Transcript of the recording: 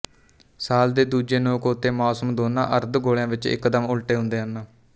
ਸਾਲ ਦੇ ਦੂਜੇ ਨੋਕ ਉੱਤੇ ਮੌਸਮ ਦੋਨਾਂ ਅਰਧ ਗੋਲਿਆਂ ਵਿੱਚ ਇੱਕਦਮ ਉੱਲਟੇ ਹੁੰਦੇ ਹਨ